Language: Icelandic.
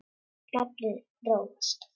Naflinn róast.